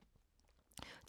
TV 2